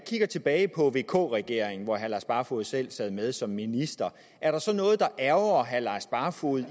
ser tilbage på vk regeringen hvor herre lars barfoed selv sad med som minister er der så noget der ærgrer herre lars barfoed